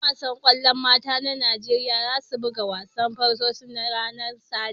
Yan wasan kwallon mata na Nijeriya za su buga wasan farko'n su ranan Sati.